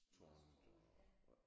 Marsk tårnet ja